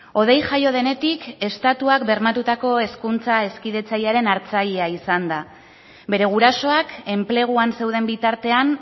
hodei jaio denetik estatuak bermatutako hezkuntza hezkidetzailearen hartzailea izan da bere gurasoak enpleguan zeuden bitartean